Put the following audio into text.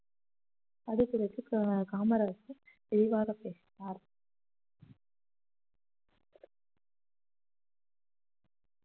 அது குறித்து கா~ காமராஜர் தெளிவாக பேசினார்